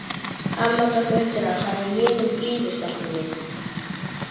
Amma tók undir það og sagði jiminn blíður, stelpan mín.